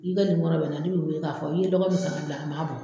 ne bɛ i wele k'a fɔ i ye lɔgɔ min san ka bila a man bɔ.